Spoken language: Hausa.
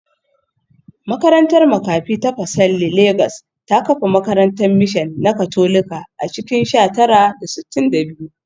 Makarantar makafi ta Pacelli Legas ta kafa makarantar mishan na Katolika a cikin sha tara da sittin da biyu